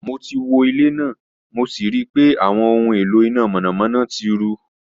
Mo ti wo ile naa mo si rii pe awọn ohun elo ina mọnamọna ti ru